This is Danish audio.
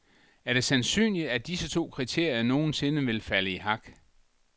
Er det sandsynligt, at disse to kriterier nogen sinde vil falde i hak?